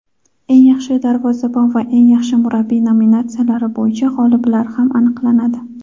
"Eng yaxshi darvozabon" va "Eng yaxshi murabbiy" nominatsiyalari bo‘yicha g‘oliblar ham aniqlanadi.